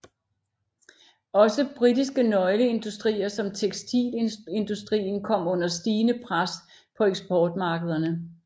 Også britiske nøgleindustrier som tekstilindustrien kom under stigende pres på eksportmarkederne